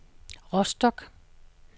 Rostock